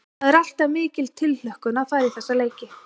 Það er alltaf mikil tilhlökkun að fara í þessa leiki.